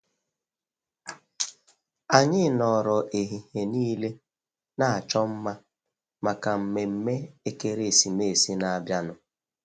Anyị nọrọ ehihie nile na-achọ mma maka nmemme ekeresimesi na-abịanụ.